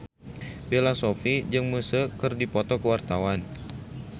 Bella Shofie jeung Muse keur dipoto ku wartawan